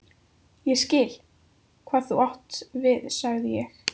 Ég skil, hvað þú átt við sagði ég.